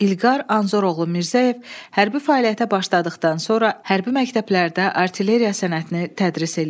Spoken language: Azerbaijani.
İlqar Anzoroğlu Mirzəyev hərbi fəaliyyətə başladıqdan sonra hərbi məktəblərdə artilleriya sənətini tədris eləyib.